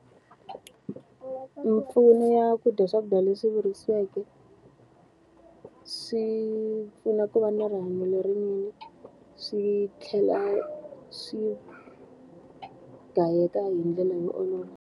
Mimpfuno ya ku dya swakudya leswi virisiweke, swi pfuna ku va na rihanyo lerinene swi tlhela swi gayeka hi ndlela yo olova.